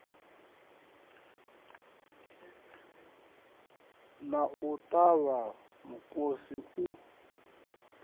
na u ṱavha mukosi u